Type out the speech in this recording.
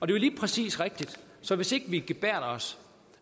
det er lige præcis rigtigt så hvis ikke vi gebærder os